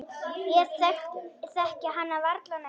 Ég þekki hann varla neitt.